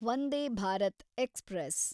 Vande Bharat express